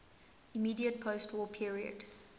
immediate postwar period